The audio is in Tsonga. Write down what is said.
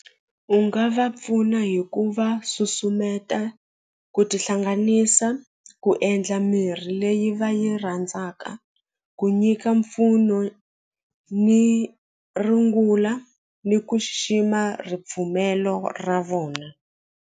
U nga va pfuna hi ku va susumeta ku tihlanganisa ku endla mirhi leyi va yi rhandzaka ku nyika mpfuno ni rungula ni ku xixima ripfumelo ra vona.